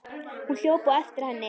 Hún hljóp á eftir henni.